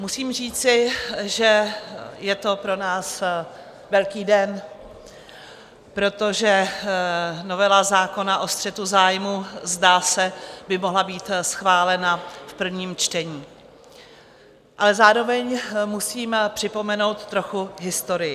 Musím říci, že je to pro nás velký den, protože novela zákona o střetu zájmů, zdá se, by mohla být schválena v prvním čtení, ale zároveň musím připomenout trochu historii.